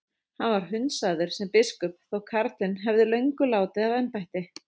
Hann var hundsaður sem biskup þótt karlinn hefði löngu látið af embætti.